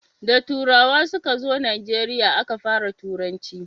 da turawa su ka zo najeriya a Ka fara turanci